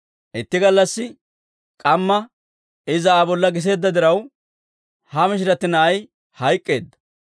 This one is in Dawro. «Itti gallassi k'amma iza Aa bolla giseedda diraw, ha mishirati na'ay hayk'k'eedda.